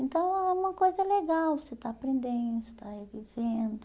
Então é uma uma coisa legal, você está aprendendo, você está revivendo.